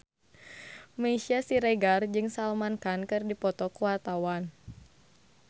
Meisya Siregar jeung Salman Khan keur dipoto ku wartawan